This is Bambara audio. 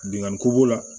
Binnkanniko b'o la